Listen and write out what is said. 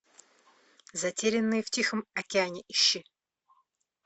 затерянные в тихом океане ищи